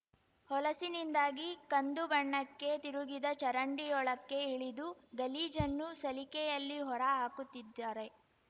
ಹೊಲಸಿನಿಂದಾಗಿ ಕಂದು ಬಣ್ಣಕ್ಕೆ ತಿರುಗಿದ ಚರಂಡಿಯೊಳಕ್ಕೆ ಇಳಿದು ಗಲೀಜನ್ನು ಸಲಿಕೆಯಲ್ಲಿ ಹೊರ ಹಾಕುತ್ತಿದ್ದಾರೆ